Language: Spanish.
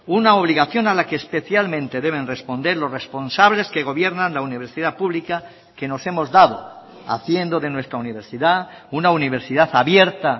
una obligación a la que especialmente deben responder los responsables que gobiernan la universidad pública que nos hemos dado haciendo de nuestra universidad una universidad abierta